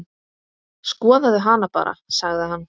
Skoðaðu hana bara, sagði hann.